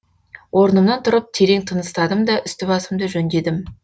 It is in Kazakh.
орнымнан тұрып терең тыныстадым да үсті басымды жөндедім